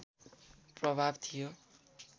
प्रभाव थियो